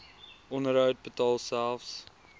onderhoud betaal selfs